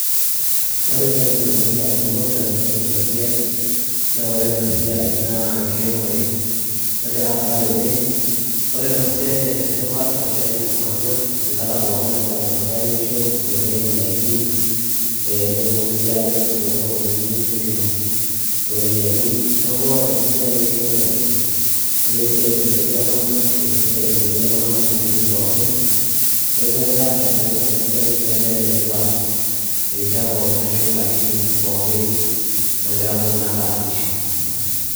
Ore entoki ndamunot tenadol ena siai naa ore ena siai naa enkiremore nagira aasa tene. Ore ena siai nee ene tipat ashu ene maana enkata pookin nagira iltung'anak airemisho amu ketum ndaikin ee netumoki sii aatimir too sokonini netum iropiani. Neeku ore ena siai enkiremore netaa esiai naisaidia iltung'anak ashu etaa esiai nailepunye iltung'anak nkatitin pookin, neeku etaa ene faida ena siai ashu etaa ene tipat irishat pookin ashu nkatitin pookin naagira iltung'anak aasisho.